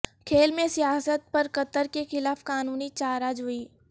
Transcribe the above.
کھیل میں سیاست پر قطر کیخلاف قانونی چارہ جوئی